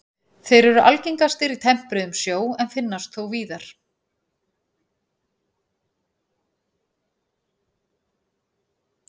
Þeir eru algengastir í tempruðum sjó en finnast þó víðar.